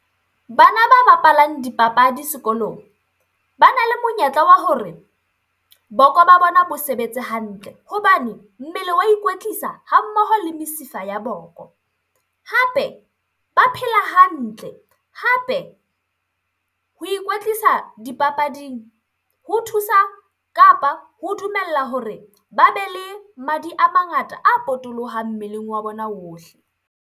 Bana ba bapalang dipapadi sekolong, bana le monyetla wa hore boko ba bona bo sebetse hantle hobane mmele wa ikwetlisa, ha mmoho le mesifa ya boko. Hape ba phela hantle, hape ho ikwetlisa dipapading ho thusa kapa ho dumella hore ba be le madi a mangata a potolohang mmeleng wa bona ohle.